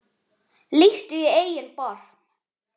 Líttu í eigin barm